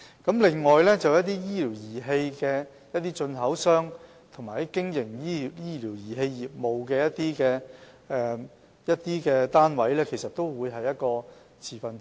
此外，醫療儀器進口商及經營醫療儀器的業務單位，其實都是持份者。